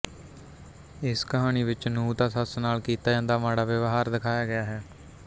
ਇਸ ਕਹਾਣੀ ਵਿੱਚ ਨੂੰਹ ਦਾ ਸੱਸ ਨਾਲ ਕੀਤਾ ਜਾਂਦਾ ਮਾੜਾ ਵਿਵਹਾਰ ਦਿਖਾਇਆ ਗਿਆ ਹੈ